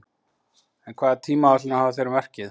En hvaða tímaáætlanir hafa þeir um verkið?